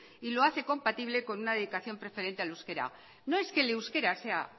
y lo hace compatible con una dedicación preferente al euskera no es que el euskera sea